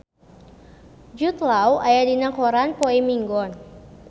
Jude Law aya dina koran poe Minggon